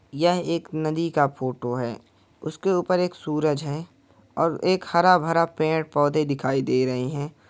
यहाँ एक नदी का फोटो है उसके ऊपर एक सूरज है और एक हरा-भरा पेड़-पौधे दिखाए दे रहे हैं।